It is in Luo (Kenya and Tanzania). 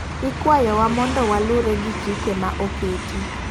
Ikwayo wa mondo walure gi chike ma oketi.